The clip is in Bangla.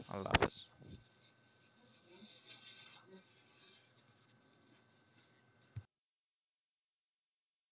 আল্ল্হাফিস